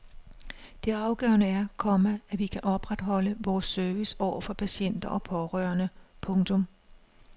Det afgørende er, komma at vi kan opretholde vores service over for patienter og pårørende. punktum